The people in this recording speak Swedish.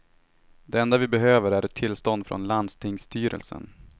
Det enda vi behöver är ett tillstånd från landstingsstyrelsen.